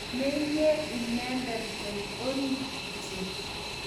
Menyei inendet kot orit kityo